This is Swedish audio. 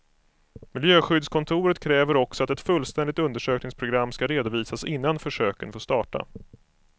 Miljöskyddskontoret kräver också att ett fullständigt undersökningsprogram skall redovisas innan försöken får starta.